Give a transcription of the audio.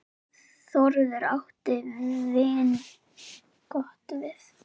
Þórður átti vingott við.